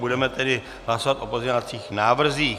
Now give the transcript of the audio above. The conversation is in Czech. Budeme tedy hlasovat o pozměňovacích návrzích.